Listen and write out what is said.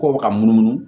K'o bɛ ka munumunu